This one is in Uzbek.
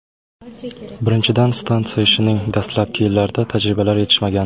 Birinchidan, stansiya ishining dastlabki yillarida tajribalar yetishmagan.